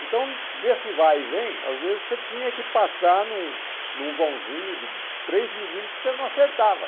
Então nesse vai e vem, às vezes você tinha que passar num num vãozinho de três milímetros e você não acertava.